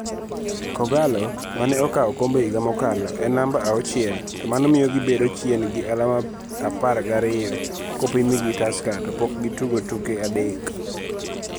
K'Ogalo, ma ne okao okombe higa mokalo, en namba auchiel, to mano miyo gibedo chien gi alama apar gariyo kopimgi gi Tusker to pok gitugo tuke adek.